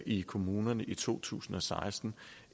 i kommunerne i to tusind og seksten